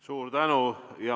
Suur tänu!